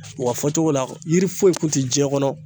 Wa fɔcogo la, yiri foyi tun tɛ diɲɛ kɔnɔ.